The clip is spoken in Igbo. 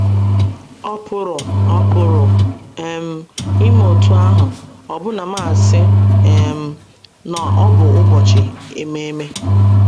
Ọ̀ pụrụ Ọ̀ pụrụ um ime otú ahụ ọbụna ma a sị um na ọ bụ ụbọchị ememe?